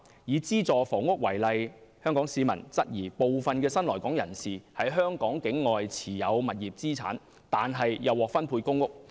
以資助房屋為例，香港市民質疑部分的新來港人士，在香港境外持有物業資產，卻又獲分配公屋。